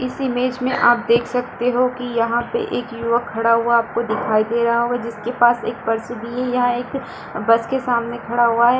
इस इमेज में आप देख सकते हो की यहाँ पे एक युवक खड़ा हुआ आपको दिखाई दे रहा होगा जिसके पास एक पर्स भी है यह एक बस के सामने खड़ा हुआ है ।